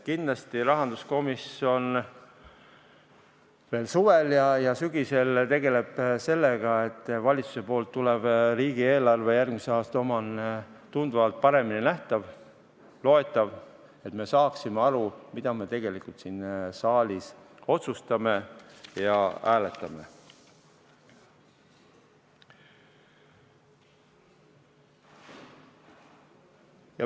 Kindlasti rahanduskomisjon veel suvel ja sügisel tegeleb sellega, et valitsusest tulev riigieelarve, järgmise aasta oma, oleks tunduvalt paremini läbinähtav ja loetav, et me saaksime aru, mida me tegelikult siin saalis otsustame ja hääletame.